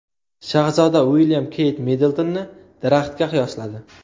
Shahzoda Uilyam Keyt Middltonni daraxtga qiyosladi.